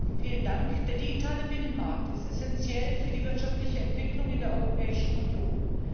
Herr Präsident! Der digitale Binnenmarkt ist essenziell für die wirtschaftliche Entwicklung in der Europäischen Union.